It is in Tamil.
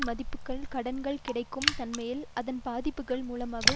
மதிப்புக்கள் கடன்கள் கிடைக்கும் தன்மையில் அதன் பாதிப்புக்கள் மூலமாக